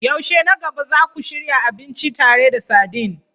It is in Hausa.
Yaushe na gaba za ku shirya abinci tare da sardine?